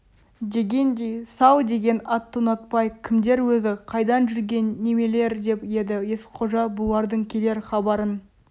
дегендей сал деген атты ұнатпай кімдер өзі қайдан жүрген немелер деп еді есқожа бұлардың келер хабарын